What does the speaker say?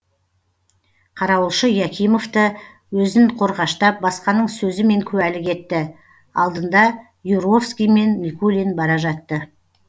қарауылшы якимов та өзін қорғаштап басқаның сөзімен куәлік етті алдында юровский мен никулин бара жатты